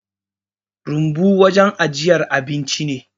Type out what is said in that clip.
Rumbu wajen ajiyar abinci ne